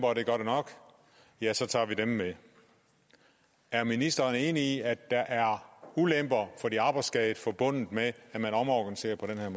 og det gør det nok ja så tager man dem med er ministeren enig i at der er ulemper for de arbejdsskadede forbundet med at man omorganiserer på den her